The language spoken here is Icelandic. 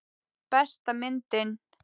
Besta myndin?